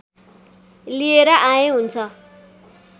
लिएर आए हुन्छ